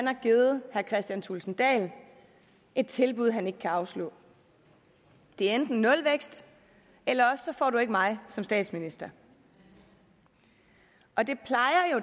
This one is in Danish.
har givet herre kristian thulesen dahl et tilbud han ikke kan afslå det er enten nulvækst eller også får du ikke mig som statsminister og det plejer